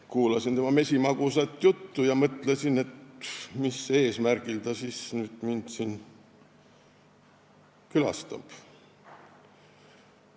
Kuulasin tema mesimagusat juttu ja mõtlesin, et mis eesmärgil ta mind külastab.